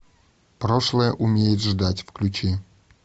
прошлое умеет ждать включи